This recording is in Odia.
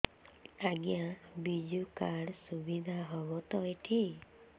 ଆଜ୍ଞା ବିଜୁ କାର୍ଡ ସୁବିଧା ହବ ତ ଏଠି